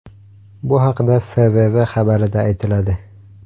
Bu haqda FVV xabarida aytiladi .